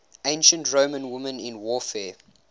ancient roman women in warfare